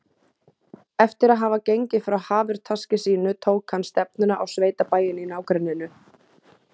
Eftir að hafa gengið frá hafurtaski sínu tók hann stefnuna á sveitabæinn í nágrenninu.